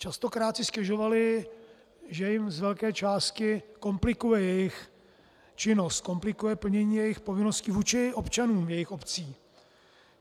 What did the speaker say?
Častokrát si stěžovali, že jim z velké části komplikuje jejich činnost, komplikuje plnění jejich povinností vůči občanům jejich obcí.